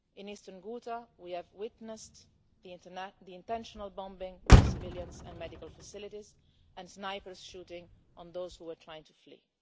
In eastern Ghouta we have witnessed the intentional bombing of civilians and medical facilities and snipers shooting at those who are trying to flee.